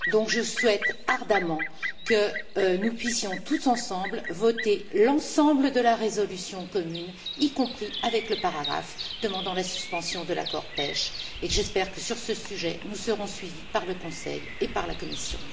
Je souhaite donc ardemment que nous puissions tous ensemble voter l'ensemble de la résolution commune, y compris le paragraphe demandant la suspension de l'accord pêche, et j'espère que, sur ce sujet, nous serons suivis par le Conseil et la Commission.